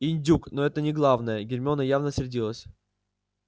индюк но это не главное гермиона явно сердилась